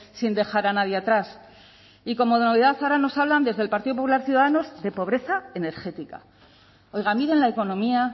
sin dejar a nadie atrás y como novedad ahora nos hablan desde el partido popular ciudadanos de pobreza energética oiga miren la economía